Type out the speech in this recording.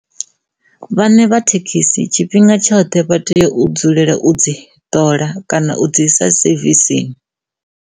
Vhane vha thekhisi tshifhinga tshoṱhe vha tea u dzulela u dzi ṱola kana u dzi isa sevisini.